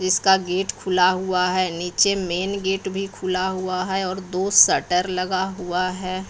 इसका गेट खुला हुआ है नीचे मेन गेट भी खुला हुआ है और दो शटर लगा हुआ है।